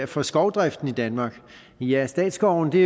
for skovdriften i danmark ja statsskovene